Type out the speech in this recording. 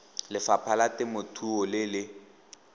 lefapha la temothuo le le